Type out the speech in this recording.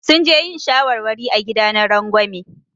Sun je yin shawarwari a gida na rangwame.